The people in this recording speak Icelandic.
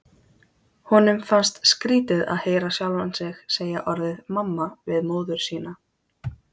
Honum fannst skrítið að heyra sjálfan sig segja orðið mamma við móður sína.